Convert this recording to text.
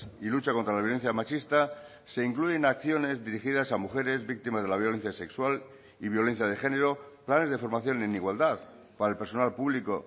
y lucha contra la violencia machista se incluyen acciones dirigidas a mujeres víctimas de la violencia sexual y violencia de género planes de formación en igualdad para el personal público